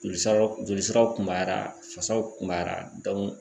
Joli siraw joli siraw kunbara fasaw kunbara